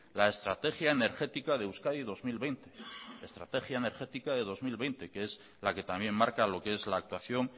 la estrategia energética de euskadi dos mil veinte que es la que también marca lo que es la actuación